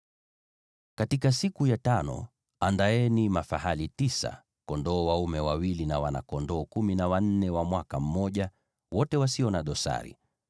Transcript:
“ ‘Katika siku ya tano andaeni mafahali tisa, kondoo dume wawili na wana-kondoo kumi na wanne wa mwaka mmoja, wote wasio na dosari.